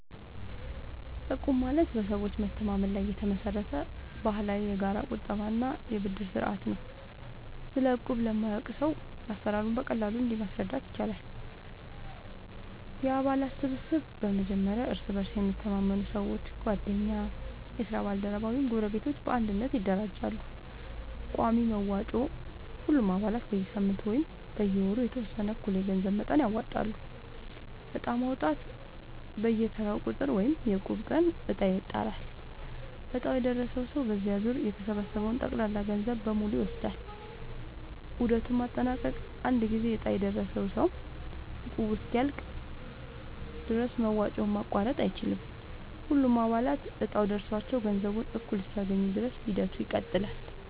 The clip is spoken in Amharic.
እቁብ ማለት በሰዎች መተማመን ላይ የተመሰረተ ባህላዊ የጋራ ቁጠባ እና የብድር ስርዓት ነው። ስለ እቁብ ለማያውቅ ሰው አሰራሩን በቀላሉ እንዲህ ማስረዳት ይቻላል፦ የአባላት ስብስብ፦ በመጀመሪያ እርስ በእርስ የሚተማመኑ ሰዎች (ጓደኞች፣ የስራ ባልደረቦች ወይም ጎረቤቶች) በአንድነት ይደራጃሉ። ቋሚ መዋጮ፦ ሁሉም አባላት በየሳምንቱ ወይም በየወሩ የተወሰነ እኩል የገንዘብ መጠን ያወጣሉ። ዕጣ ማውጣት፦ በየተራው ቁጥር (የእቁብ ቀን) ዕጣ ይጣላል፤ ዕጣው የደረሰው ሰው በዚያ ዙር የተሰበሰበውን ጠቅላላ ገንዘብ በሙሉ ይወስዳል። ዑደቱን ማጠናቀቅ፦ አንድ ጊዜ ዕጣ የደረሰው ሰው እቁቡ እስኪያልቅ ድረስ መዋጮውን ማቋረጥ አይችልም። ሁሉም አባላት እጣው ደርሷቸው ገንዘቡን እኩል እስኪያገኙ ድረስ ሂደቱ ይቀጥላል።